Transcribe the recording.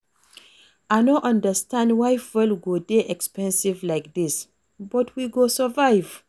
I no understand why fuel go dey expensive like dis but we go survive